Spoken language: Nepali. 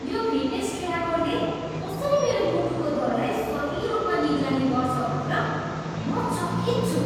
यो फिटनेस ट्र्याकरले कसरी मेरो मुटुको दरलाई सही रूपमा निगरानी गर्छ भनेर म चकित छु।